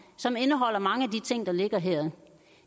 som indeholder mange af de ting der ligger her